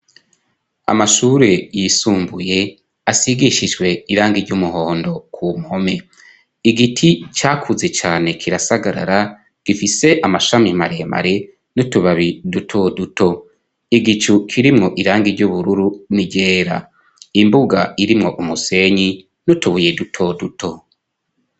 Amashure yisumbuye ashigishijwe irangi ry'umuhondo ku mpome, igiti cakuze cane kirasagarara gifise amashami maremare n'utubabi dutoduto, igicu kirimwo irangi ry'ubururu n'iryera, imbuga irimwo umusenyi n'utubuye dutoduto.